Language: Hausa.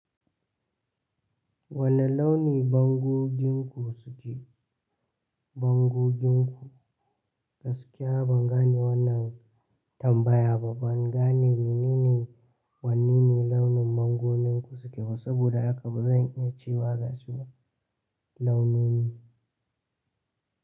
Wane launi bango ginko suke? Bango ginku? Gaskiya ban gane wannan tambaya ba. Bangane menene Wane irin launin bango ginku suke ba saboda haka bazan iya cewa gashi ba launin.